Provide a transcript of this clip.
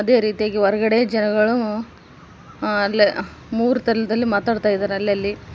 ಇದೇ ರೀತಿಯಾಗಿ ಹೊರಗಡೆ ಜನಗಳು ಆ ಅಲ್ಲಿ ಮೂರು ತರದಲ್ಲಿ ಮಾತಾಡ್ತಿದ್ದಾರೆ ಅಲ್ಲಲ್ಲಿ.